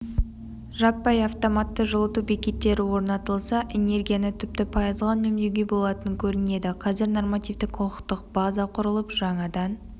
жаппай автоматты жылыту бекеттері орнатылса энергияны тіпті пайызға үнемдеуге болатын көрінеді қазір нормативтік-құқықтық база құрылып жаңадан